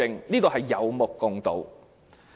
這也是有目共睹的。